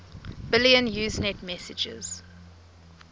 billion usenet messages